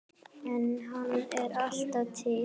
En hann er alltaf til.